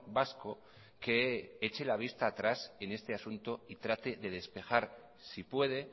vasco que eche la vista atrás en este asunto y trate de despejar si puede